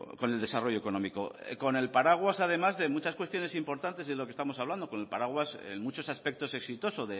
con el desarrollo económico con el paraguas además de muchas cuestiones importantes de lo que estamos hablando con el paraguas en muchos aspectos exitoso